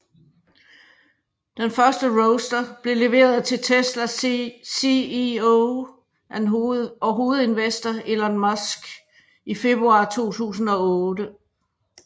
Den første Roadster blev leveret til Teslas CEO og hovedinvestor Elon Musk i februar 2008